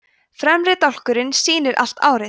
fremri dálkurinn sýnir allt árið